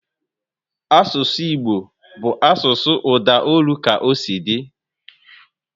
Asụsụ Igbo bụ asụsụ udaolu ka osi di